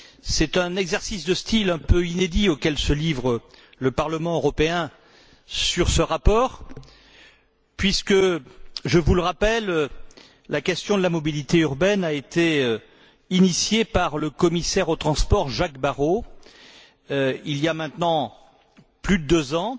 C'est un exercice de style un peu inédit auquel se livre le Parlement européen sur ce rapport puisque, je vous le rappelle, la question de la mobilité urbaine a été initiée par le commissaire aux transports, Jacques Barrot, il y a maintenant plus de deux ans,